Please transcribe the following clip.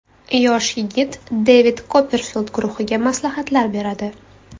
Yosh yigit Devid Kopperfild guruhiga maslahatlar beradi.